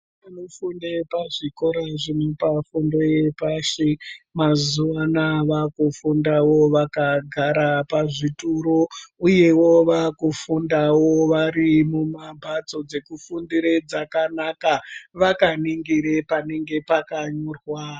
Vana vanofunde pazvikore zvinopa fundo yepashi mazuva anaya vakufundevo vakagara pazvituru, uyevo vakufunda varimumambatso dzekufundire dzakanaka vakaningire panenge pakanyorwa.